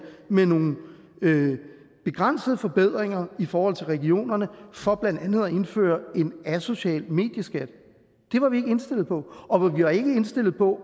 med nogle begrænsede forbedringer i forhold til regionerne for blandt andet at indføre en asocial medieskat det var vi ikke indstillet på og vi var ikke indstillet på